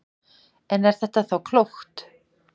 En er þetta þá klókt?